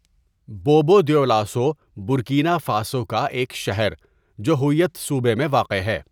بوبو Dioulasso Burkina Faso کا ایک شہر جو ہؤیت صوبہ میں واقع ہے.